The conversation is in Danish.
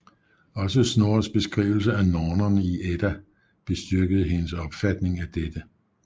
Også Snorres beskrivelse af nornerne i Edda bestyrkede hendes opfatning af dette